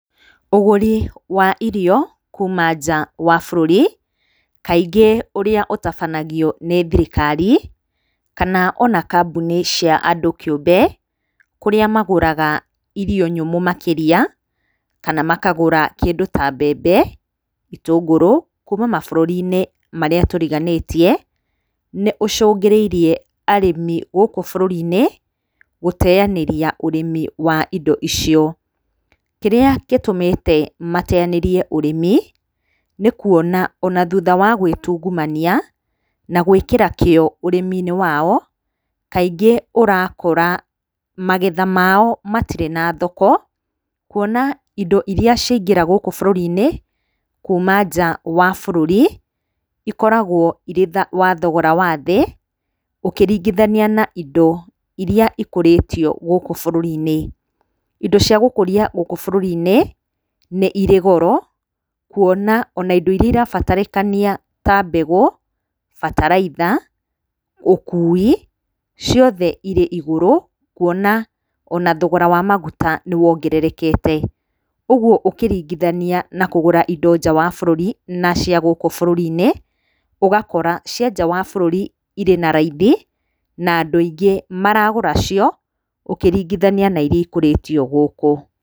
Ũgũri wa irio kuma nja wa bũrũri, kaingĩ ũrĩa ũtabanagio nĩ thirikari kana o na kambuni cia andũ kĩũmbe, kũrĩa magũraga irio nyũmũ makĩria kana makagũra kĩndũ ta mbembe, itũngũrũ kuma mabũrũri-inĩ marĩa tũriganĩtie, nĩ ũcũngĩrĩirie arĩmi gũkũ bũrũri-inĩ, gũteyanĩria ũrĩmi wa indo icio. Kĩrĩa gĩtũmĩte mateyanĩrie ũrĩmi, nĩ kuona o na thutha wa gwĩtungumania, na gwĩkĩra kĩo ũrĩmi-inĩ wao, kaingĩ ũrakora magetha mao matirĩ na thoko, kuona indo iria ciaingĩra gũkũ bũrũri-inĩ kuma nja wa bũrũri, ikoragwo irĩ wa thogora wa thĩ ũkĩringĩthania na indo iria ikũrĩtio gũkũ bũrũri-inĩ. Indo cia gũkũria gũkũ bũrũri-inĩ nĩ irĩ goro kuona o na indo iria irabatarĩkania ta mbegũ, bataraitha, ũkui, ciothe irĩ igũrũ, kuona o na thogora wa maguta nĩ wongererekete. Ũguo ũkĩrĩngithania na kũgũra indo nja wa bũrũri na cia gũkũ bũrũri-inĩ, ũgakora cia nja wa bũrũri irĩ na raithi na andũ aingí maragũra cio, ũkĩringithania na iria ikũrĩtio gũkũ.